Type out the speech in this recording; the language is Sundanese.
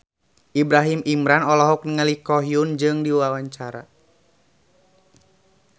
Ibrahim Imran olohok ningali Ko Hyun Jung keur diwawancara